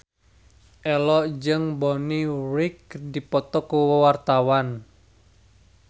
Ello jeung Bonnie Wright keur dipoto ku wartawan